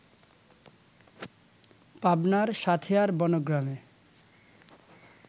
পাবনার সাঁথিয়ার বনগ্রামে